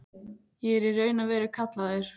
Ég er í raun og veru kallaður.